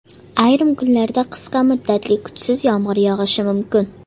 Ayrim kunlarda qisqa muddatli kuchsiz yomg‘ir yog‘ishi mumkin.